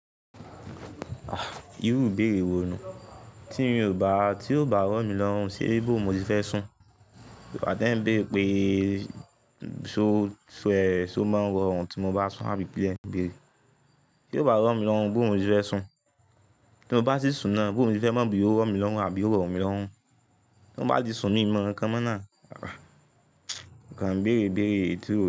Ah! Irú ìbéèrè wo nu? Tí mi o ba, tí ó bá rọ̀ mí lọ́rùn ṣe bo mo ti fẹ́ sùn. Igba tẹ ń béèrè pé ṣo, ṣo ẹ, ṣo máa ń ro run tí mo bá sùn, àbí pé kilé ń béèrè. Tí ó bá rọ̀ mí lọ́rùn, bó wo mo ti fẹ́ sùn. Tí mo bá si sùn náà, bó wo ni mo fẹ́ máa bi, ó rọ̀ mí lọ́rùn àbí ó rọ̀ mí lọ́rùn. Tí mo ba ti sùn ní mi o mo ǹkan mọ́ náà,! Ọkàn ń béèrè, béèrè èyití o.